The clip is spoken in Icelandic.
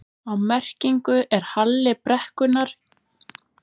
Á merkinu er halli brekkunnar gefinn upp sem prósenta.